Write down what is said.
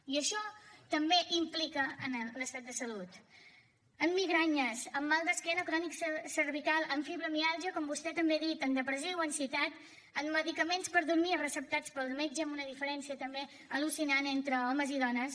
i això també implica en l’estat de salut en migranyes en mal d’esquena crònic cervical en fibromiàlgia com vostè també ha dit en depressió o ansietat en medicaments per dormir receptats pel metge amb una diferència també al·lucinant entre homes i dones